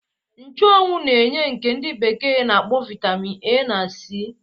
Nchuanwu na-enye nke ndi bekee na-akpọ Vaitamin A na C.